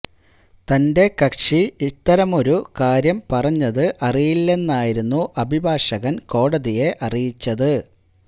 തന്റെ കക്ഷി ഇത്തരമൊരു കാര്യം പറഞ്ഞത് അറിയില്ലെന്നായിരുന്നു അഭിഭാഷകന് കോടതിയെ അറിയിച്ചത്